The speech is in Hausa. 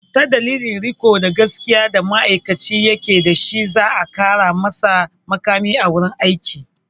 Ta dalilin riko da gaskiya da ma'aikacin ya ke dashi za a ƙara masa muƙami a wurin aiki.